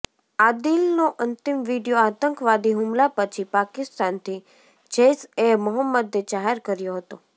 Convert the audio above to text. આદિલનો અંતિમ વીડિયો આતંકવાદી હુમલા પછી પાકિસ્તાનથી જૈશ એ મોહમ્મદે જાહેર કર્યો હતો